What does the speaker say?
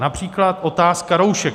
Například otázka roušek.